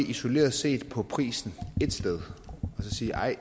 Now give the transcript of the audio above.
isoleret set på prisen et sted og sige at